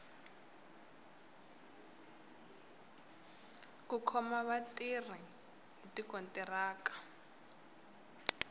ku khoma vatirhi hi tikontiraka